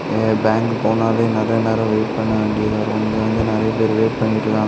எ bank போனாலும் நெறய நேரம் வெயிட் பண்ண வேண்டி வரும் இங்க வந்து நெறய பேரு வெயிட் பண்ணிட்ருகாங்--